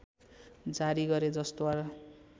जारी गरे जसद्वारा